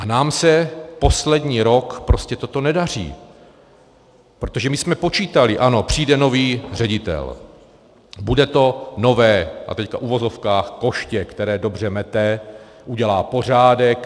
A nám se poslední rok prostě toto nedaří, protože my jsme počítali, ano, přijde nový ředitel, bude to nové, a teď v uvozovkách, koště, které dobře mete, udělá pořádek.